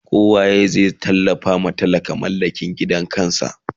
ko waye zai tallafa wa talaka ya mallaki gidan kansa?